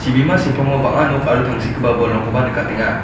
sepango bang·a nok aro tangsekgipa bolrangkoba nikatenga.